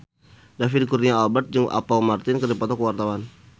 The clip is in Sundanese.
David Kurnia Albert jeung Apple Martin keur dipoto ku wartawan